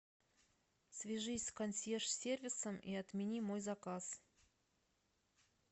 свяжись с консьерж сервисом и отмени мой заказ